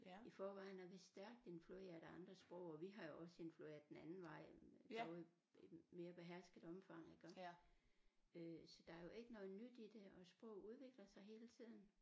I forvejen er vi stærkt influeret af andre sprog og vi har jo også influeret den anden vej i noget mere behersket omfang iggå øh så der er jo ikke noget nyt i det og sprog udvikler sig hele tiden